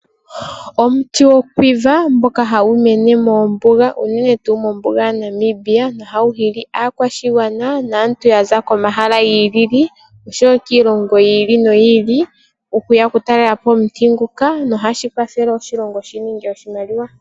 Omuti gomukwaava ohagu mene moombuga, unene tuu mombuga yaNamibia, nohagu hili aakwashigwana naantu ya za komahala gi ili nogi ili oshowo kiilongo yi ili noyi ili okuya oku talela po omuti nguka nohashi kwathele oshilongo shi ninge oshimaliwa.